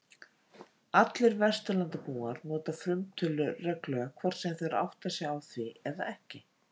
Allir Vesturlandabúar nota frumtölur reglulega hvort sem þeir átta sig á því eða ekki.